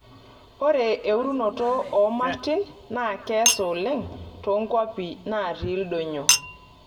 Ore euroto oo martin naa keasa oleng toonkwapi naati ildonyio.